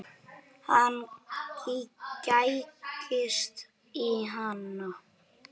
Hann gægist í hann.